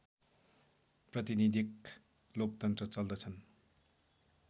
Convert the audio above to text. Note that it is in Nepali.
प्रतिनीधिक लोकतन्त्र चल्दछन्